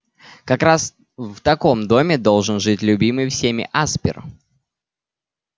как раз в таком доме должен жить любимый всеми аспер